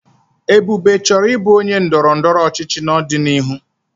Ebube chọrọ ịbụ onye ndọrọ ndọrọ ọchịchị n'ọdịnihu.